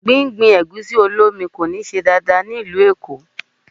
Gbígbin Ẹ̀gúsí-olómi kò ní ṣe dáadáa ní ìlú Èkó.